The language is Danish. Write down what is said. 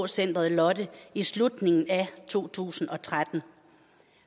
centeret lotte i slutningen af to tusind og tretten